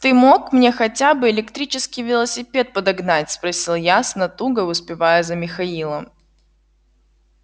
ты мог мне хотя бы электрический велосипед подогнать спросил я с натугой успевая за михаилом